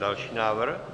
Další návrh.